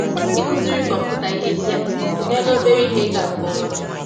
Ịkụziri kọmpụta ihe ndị a emeela obere ihe ịga nke ọma.